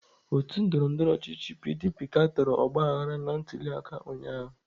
Otu ndọrọndọrọ ọchịchị PDP katọrọ ọgbaghara na ntuliaka ụnyahụ.